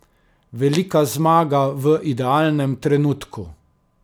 Velika zmaga v idealnem trenutku.